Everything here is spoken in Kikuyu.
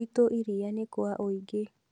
Gwitũ iria nĩkwa ũingĩ